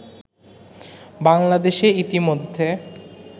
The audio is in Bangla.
বাংলাদেশে ইতোমধ্যে